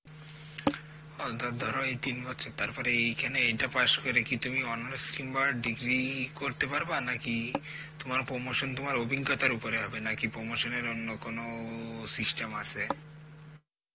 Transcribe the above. অ তো ধরো এই তিন বছর তারপর এইখানে এইটা পাস করে কি তুমি অন্য stream বা degree করতে পারবা নাকি তোমার promotion তোমার অভিজ্ঞতার উপর হবে নাকি promotion এর অন্য কোন system আছে?